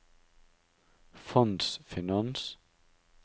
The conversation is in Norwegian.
fondsfinans